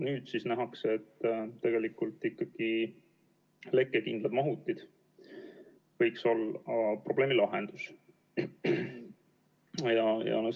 Nüüd nähakse, et probleemi lahendus võiks tegelikult ikkagi olla lekkekindlad mahutid.